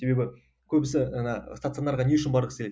себебі көбісі жаңа стационарға не үшін барғысы келеді